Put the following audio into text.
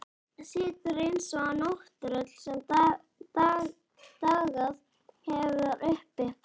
Situr eins og nátttröll sem dagað hefur uppi.